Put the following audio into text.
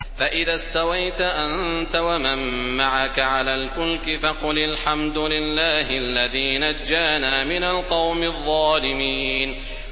فَإِذَا اسْتَوَيْتَ أَنتَ وَمَن مَّعَكَ عَلَى الْفُلْكِ فَقُلِ الْحَمْدُ لِلَّهِ الَّذِي نَجَّانَا مِنَ الْقَوْمِ الظَّالِمِينَ